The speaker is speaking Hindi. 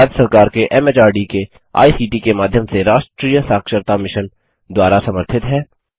भारत सरकार के एमएचआरडी के आईसीटी के माध्यम से राष्ट्रीय साक्षरता मिशन द्वारा समर्थित है